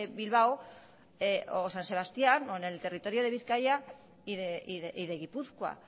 bilbao o san sebastían o en el territorio de bizkaia y de gipuzkoa